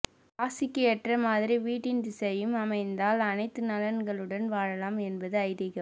ராசிக்கு ஏற்ற மாதிரி வீட்டின் திசையும் அமைந்தால் அனைத்து நலன்களுடன் வாழலாம் என்பது ஐதீகம்